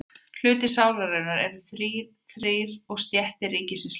Hlutar sálarinnar eru þrír og stéttir ríkisins líka.